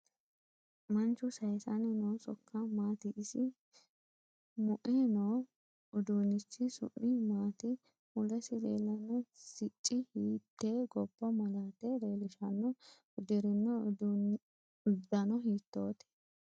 Manchu sayiisanni noo sokka maati isi mue noo uduunichi su'mi maati mulesi leelanno sicci hiite gobba malaate leelishanno uddirino uddano hiitoote